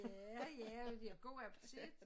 Ja ja men de har god appetit